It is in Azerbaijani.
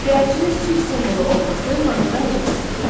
Göyərçinin sülh simvolu olması mahnıda necə təsvir edilir?